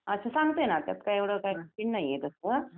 अच्छा सांगते ना त्यात काय एवढं नाही आहे एवढं.